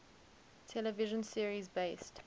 television series based